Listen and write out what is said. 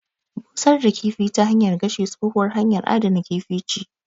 Busar da kifi ta hanyar gashi, tsohuwar hanyar adana kifi ce.